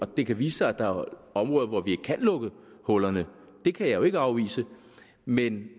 det kan vise sig at der er områder hvor vi ikke kan lukke hullerne det kan jeg jo ikke afvise men